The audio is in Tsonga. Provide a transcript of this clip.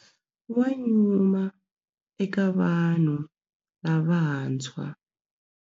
Wa nyuma eka vanhu lavantshwa.